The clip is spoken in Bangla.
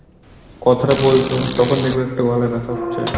কথাটা বলছো তখন দেখবে একটা গলায় ব্যথা হচ্ছে।